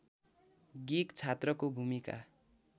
गिक छात्रको भूमिका